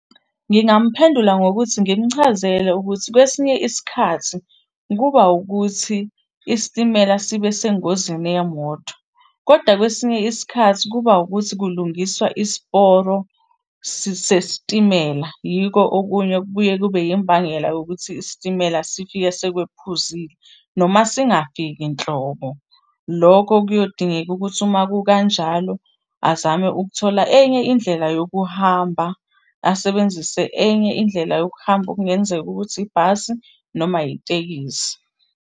Ngingamphendula ngokuthi ngimchazele ukuthi kwesinye isikhathi kuba ukuthi isitimela sibe sengozini yemoto, koda kwesinye isikhathi kuba wukuthi kulungiswa isiporo sesitimela. Yiko okunye okubuye kube imbangela yokuthi isitimela sifike sekwephuzile, noma singafiki nhlobo. Loko kuyodingeka ukuthi uma kukanjalo azame ukuthola enye indlela yokuhamba, asebenzise enye indlela yokuhamba okungenzeka ukuthi yibhasi noma yitekisi.